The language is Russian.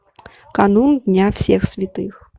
канун дня всех святых